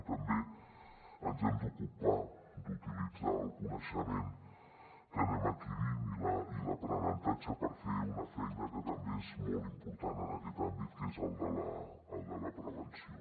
i també ens hem d’ocupar d’utilitzar el coneixement que anem adquirint i l’aprenentatge per fer una feina que també és molt important en aquest àmbit que és la de la prevenció